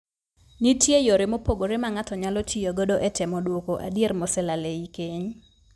Nitie yore mopogore ma ng'ato nyalo tiyo godo e temo duoko adier moselal ei keny.